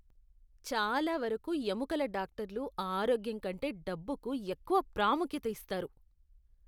చాలా వరకు ఎముకల డాక్టర్లు ఆరోగ్యం కంటే డబ్బుకు ఎక్కువ ప్రాముఖ్యత ఇస్తారు.